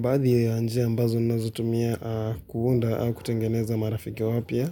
Baadhi ya njia ambazo nazitumia kuunda au kutengeneza marafiki wapya,